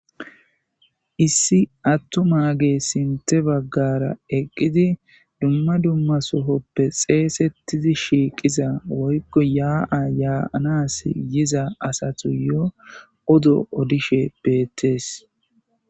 Issi attuma ge sinte baggara eqqidi dumma dumma sohoppe xeesettidi shiiqiza woykko yaa7a yaaanas yiza asatu yo odo odishe beettees.